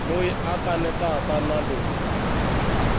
loyi a kanetaka na loyi